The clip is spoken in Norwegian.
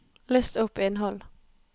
list opp innhold